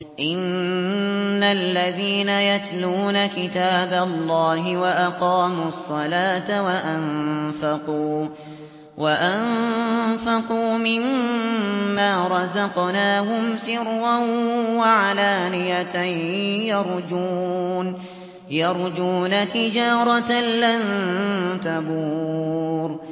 إِنَّ الَّذِينَ يَتْلُونَ كِتَابَ اللَّهِ وَأَقَامُوا الصَّلَاةَ وَأَنفَقُوا مِمَّا رَزَقْنَاهُمْ سِرًّا وَعَلَانِيَةً يَرْجُونَ تِجَارَةً لَّن تَبُورَ